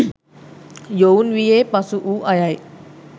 යොවුන් වියේ පසුවූ අයයි.